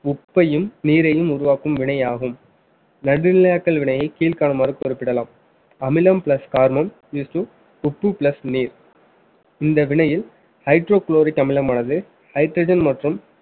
உப்பையும் நீரையும் உருவாக்கும் வினையாகும் நடுநிலையாக்கள் வினையை கீழ்காணுமாறு குறிப்பிடலாம் அமிலம் plus கார்மம் is to உப்பு plus நீர் இந்த வினையில் hydrochloric அமிலமானது hydrogen மற்றும்